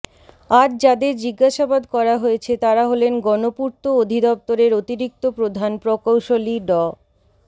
আজ যাদের জিজ্ঞাসাবাদ করা হয়েছে তারা হলেন গণপূর্ত অধিদপ্তরের অতিরিক্ত প্রধান প্রকৌশলী ড